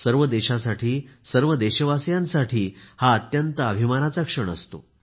सर्व देशासाठी सर्व देशवासीयांसाठी हा अत्यंत अभिमानाचा क्षण असतो